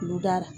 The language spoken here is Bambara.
Olu da la